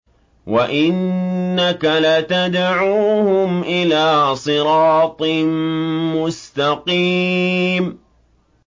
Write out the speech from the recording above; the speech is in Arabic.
وَإِنَّكَ لَتَدْعُوهُمْ إِلَىٰ صِرَاطٍ مُّسْتَقِيمٍ